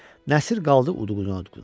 Nəsir qaldı udquna-udquna.